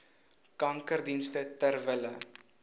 kankerdienste ter wille